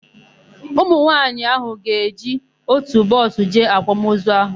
Ụmụnwaanyị áhụ̀ ga-eji ótù bọọsụ jee àkwàmozu áhụ̀.